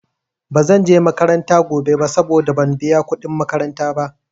Ba zanje makaranta gobe ba saboda ban biya kuɗin makaranta ba.